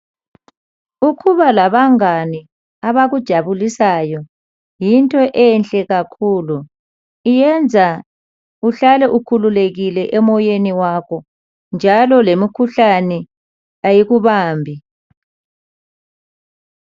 Ukuba labangane kakhulu. abakujabulisayo yinto enhle kakhulu. Iyenza uhlale ukhululekile emoyeni wakho. Njalo lemkhuhlani ayikubambi..